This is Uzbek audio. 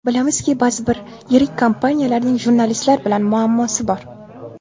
Bilamizki, ba’zi bir yirik kompaniyalarning jurnalistlar bilan muammosi bor.